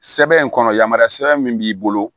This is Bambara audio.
Sɛbɛn in kɔnɔ yamaruya sɛbɛn min b'i bolo